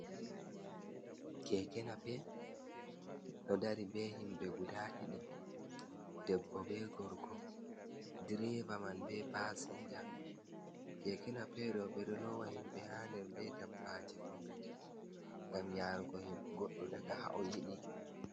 Keke napep ɗo dari be himɓe guda ɗiɗi, debbo be gorko, direva man be pasinja, kekena pe ɗo ɓeɗo lowa himɓe ha nder, be dabbaji fu ngam yarugo goɗɗo daga ha o yiɗi.